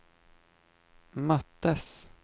möttes